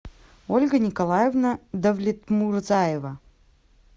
ольга николаевна давлетмурзаева